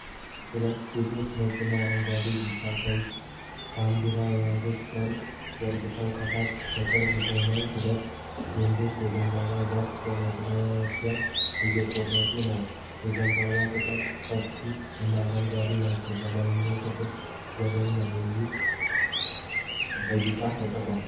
ሁለት ሴቶች ነጭና አረንጓዴ፣ ቢጫ፣ ቀይ ባንዲራ የያዘ ጨርቅ ዘርግተዋል። ከታች በቅርብ ሆነው ሁለት ወንዶች የዘንባባውን ዛፍ በመጥረቢያ እየቆረጡ ነው። የዘንባባው ቅጠሎች ሰፋፊ እና አረንጓዴ ናቸው። በላይኛው ክፍል "ዘበኛ" የሚል ጽሑፍ በቢጫ ተጽፏል።